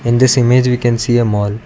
in this image we can see a mall.